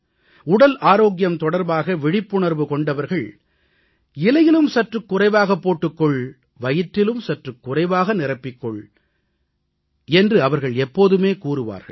உடல் ஆரோக்கியம் தொடர்பாக விழிப்புணர்வு கொண்டவர்கள் இலையிலும் சற்றுக் குறைவாகப் போட்டுக் கொள் வயிற்றிலும் சற்றுக் குறைவாக நிரப்பிக் கொள் என்று அவர்கள் எப்போதுமே கூறுவார்கள்